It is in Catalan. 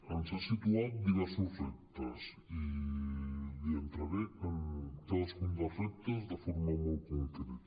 ens ha situat diversos reptes i li entraré en cadascun dels reptes de forma molt concreta